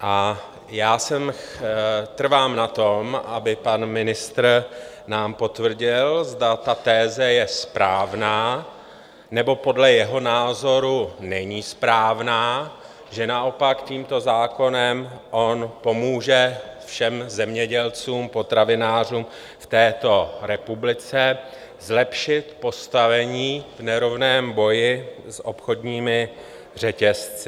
A já trvám na tom, aby pan ministr nám potvrdil, zda ta teze je správná, nebo podle jeho názoru není správná, že naopak tímto zákonem on pomůže všem zemědělcům, potravinářům v této republice zlepšit postavení v nerovném boji s obchodními řetězci.